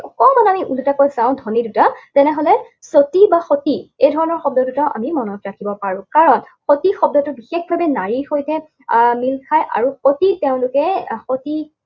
অকণমান আমি ওলোটাকৈ চাওঁ, ধ্বনি দুটা, তেনেহলে চতী বা সতী এই ধৰণৰ শব্দ দুটা আমি মনত ৰাখিব পাৰো। কাৰণ সতী শব্দটো বিশেষভাৱে নাৰীৰ সৈতে আহ মিল খায়, আৰু সতী তেওঁলোকে সতী